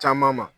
Caman ma